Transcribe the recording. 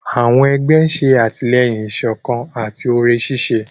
Àwọn egbé ṣe atilẹyin ìsọkan àti òré ṣiṣẹ.